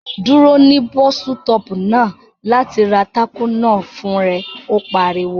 Dúró ní bọ́sítọ̀ọ̀pù náà láti ra tákò náà fún rẹ! Ó pariwo